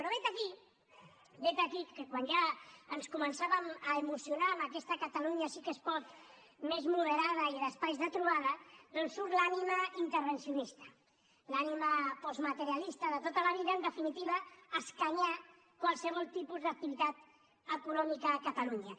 però vet aquí vet aquí que quan ja ens començàvem a emocionar amb aquesta catalunya sí que es pot més moderada i d’espais de trobada doncs surt l’ànima intervencionista l’ànima postmaterialista de tota la vida en definitiva escanyar qualsevol tipus d’activitat econòmica a catalunya